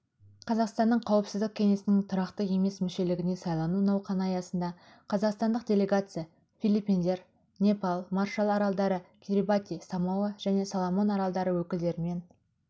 қазақсттаның қауіпсіздік кеңесінің тұрақты емес мүшелігіне сайлану науқаны аясында қазақстандық делегация филиппиндер непал маршал аралдары кирибати самоа және соломон аралдары өкілдерімен